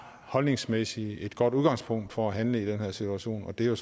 holdningsmæssigt er et godt udgangspunkt for at handle i den her situation og det er jo